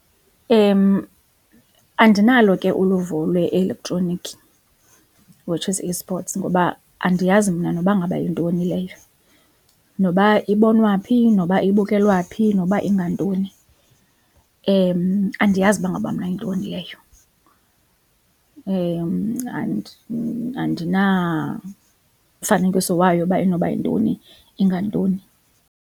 Andinalo ke uluvo lwe-elektroniki which is e-sports ngoba andiyazi mna noba ngaba yintoni leyo, noba ibonwa phi, noba ibukelwa phi, noba ingantoni andiyazi uba ngaba mna yintoni leyo andinamfanekiso wayo uba inoba yintoni ingantoni.